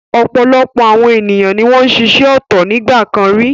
Ọ̀pọ̀lọpọ̀ àwọn ènìyàn ni wọ́n ń ṣiṣẹ́ ọ̀tọ̀ nígbà kan rí.